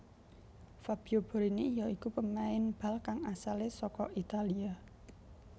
Fabio Borini ya iku pemain bal kang asalé saka Italia